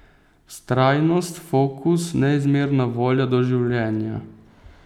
Vztrajnost, fokus, neizmerna volja do življenja.